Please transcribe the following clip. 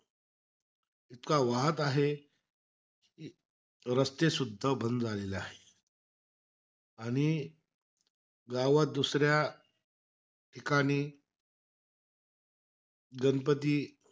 इतका वाहत आहे कि रस्ते सुद्धा बंद झालेले आहे. आणि गावात दुसऱ्या ठिकाणी गणपती,